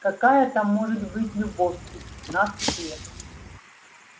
какая там может быть любовь в пятнадцать лет